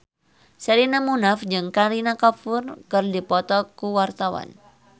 Sherina Munaf jeung Kareena Kapoor keur dipoto ku wartawan